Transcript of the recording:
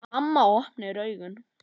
Mamma opnar augun.